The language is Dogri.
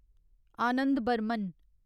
आनंद बर्मन